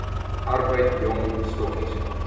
arbeid jong stokkies